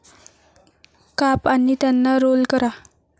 काप, आणि त्यांना रोल करा.